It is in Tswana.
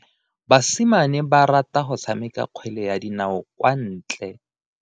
Basimane ba rata go tshameka kgwele ya dinao kwa ntle.